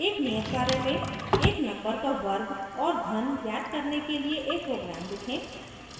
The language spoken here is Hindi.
एक नियत कार्य में